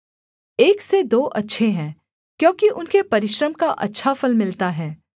एक से दो अच्छे हैं क्योंकि उनके परिश्रम का अच्छा फल मिलता है